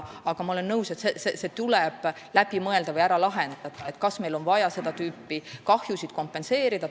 Aga ma olen nõus, et tuleb läbi mõelda või ära lahendada, kas meil on vaja seda tüüpi kahjusid kompenseerida.